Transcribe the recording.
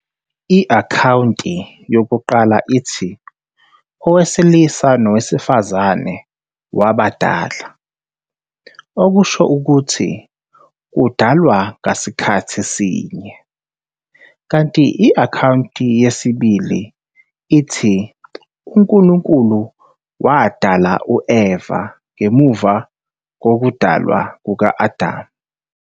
I-akhawunti yokuqala ithi "owesilisa nowesifazane wabadala", okusho ukuthi kudalwa ngasikhathi sinye, kanti i-akhawunti yesibili ithi uNkulunkulu wadala u-Eva ngemuva kokudalwa kuka-Adam.